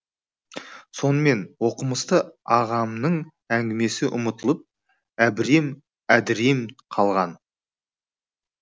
сонымен оқымысты ағамның әңгімесі ұмытылып әбірем әдірем қалған